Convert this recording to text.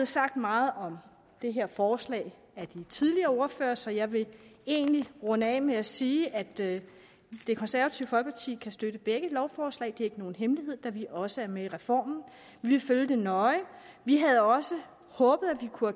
sagt meget om det her forslag af de tidligere ordførere så jeg vil egentlig runde af med at sige at det konservative folkeparti kan støtte begge lovforslag det er ikke nogen hemmelighed da vi også er med i reformen vi vil følge det nøje vi havde også håbet at vi kunne